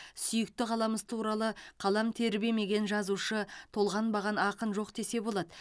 сүйікті қаламыз туралы қалам тербемеген жазушы толғанбаған ақын жоқ десе болады